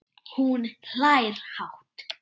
Og hún hlær hátt.